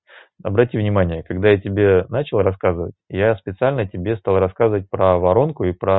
обрати внимание когда я тебе начал рассказывать я специально тебе стал рассказывать про воронку и про